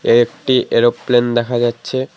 একটি এরোপ্লেন দেখা যাচ্ছে।